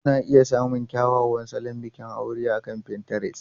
Kuna iya samun kyakkyawan salon bikin aure akan Pinterest.